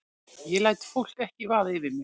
Ég læt fólk ekki vaða yfir mig.